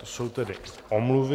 To jsou tedy omluvy.